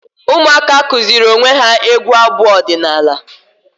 Ụmụaka kụziri onwe ya egwu abu ọdịnala